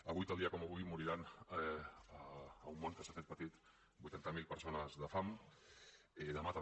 avui tal dia com avui moriran en un món que s’ha fet petit vuitanta mil persones de fam i demà també